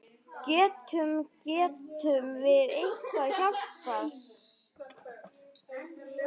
Getum, getum við eitthvað hjálpað?